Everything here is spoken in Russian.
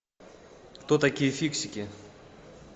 кто такие фиксики